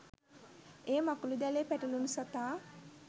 එය මකුළුදැලේ පැටලුණු සතා